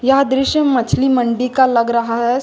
यह दृश्य मछली मंडी का लग रहा है।